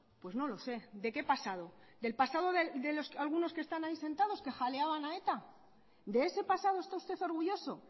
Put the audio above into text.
pues no lo sé de qué pasado del pasado de los que algunos que están ahí sentados que jaleaban a eta de ese pasado está usted orgulloso